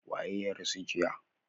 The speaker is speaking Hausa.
Waye ya rasu jiya?